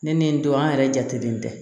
Ne ni n don an yɛrɛ jatelen tɛ